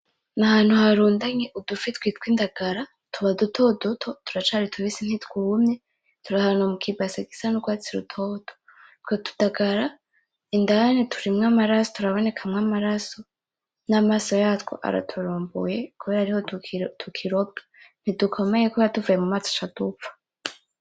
Ni ahantu harundanye udufi twitwa Indagara. Tuba dutoduto, turacari tubisi ntitwumye, turahantu mu ki base gisa n'urwatsi rutoto. Utwo tu dagara indani turabonekamwo amaraso, n'amaso yatwo araturumbuye kebra ariho tukirobwa. Ntidukomeye kubera tuvuye mumazi duca dupfa.